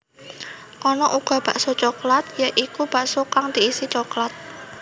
Ana uga bakso coklat ya iku bakso kang diisi coklat